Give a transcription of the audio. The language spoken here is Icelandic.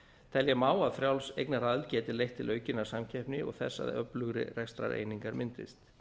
telja má að frjáls eignaraðild geti leitt til aukinnar samkeppni og þess að öflugri rekstrareiningar myndist